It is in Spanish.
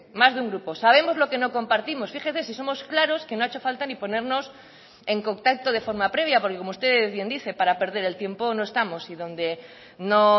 más de un grupo sabemos lo que no compartimos fíjese si somos claros que no ha hecho falta ni ponernos en contacto de forma previa porque como usted bien dice para perder el tiempo no estamos y donde no